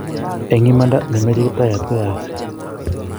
eng' imanda ne mechei Kiptayat koyaaksei